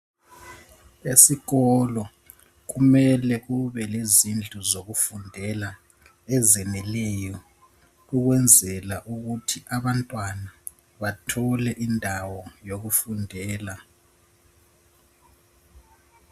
Esikolo kumele kube lezindlu zokufundela ezeneleyo. Ukwenzela ukuthi abantwana bathole indawo yokufundela